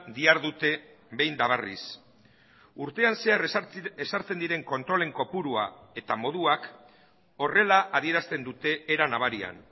dihardute behin eta berriz urtean zehar ezartzen diren kontrolen kopurua eta moduak horrela adierazten dute era nabarian